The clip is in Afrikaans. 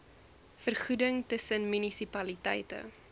vergoeding tussen munisipaliteite